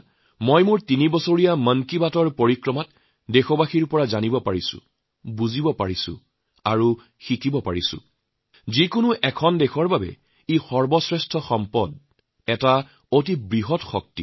মোৰ তিনি বছৰীয়া মন কী বাতৰ যাত্ৰাত মই দেশবাসীৰ পৰা এইটো জানিছো বুজিছো আৰু শিকিছোঁ যে কোনো দেশৰ বাবেই ই এটা বহুত ডাঙৰ সম্পদ এটা বহুত বড় শক্তি